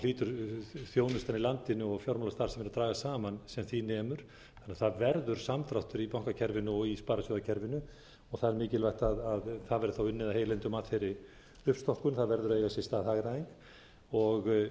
hlýtur þjónustan í landinu og fjármálastarfsemin að dragast saman sem því nemur þannig að það verður samdráttur í bankakerfinu og í sparisjóðakerfinu það er mikilvægt að það verði unnið af heilindum að þeirri uppstokkun það verður a eiga sér stað hagræðing